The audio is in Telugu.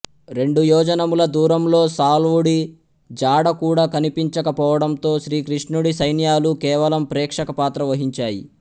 రెండు యోజనముల దూరంలో సాళ్వుడి జాడ కూడా కనిపించక పోవడంతో శ్రీకృష్ణుడి సైన్యాలు కేవలం ప్రేక్షకపాత్ర వహించాయి